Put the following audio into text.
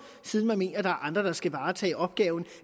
siden man mener der er andre der skal varetage opgaven